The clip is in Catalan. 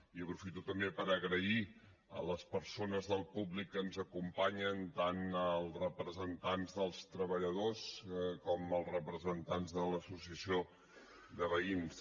i aprofito també per agrair a les persones del públic que ens acompanyen tant els representants dels treballadors com els representants de l’associació de veïns